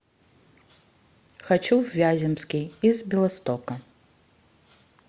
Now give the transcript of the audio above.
хочу в вяземский из белостока